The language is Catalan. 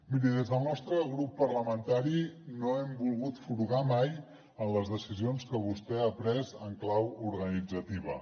miri des del nostre grup parlamentari no hem volgut furgar mai en les decisions que vostè ha pres en clau organitzativa